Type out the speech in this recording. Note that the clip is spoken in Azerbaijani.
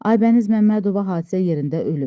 Aybəniz Məmmədova hadisə yerində ölüb.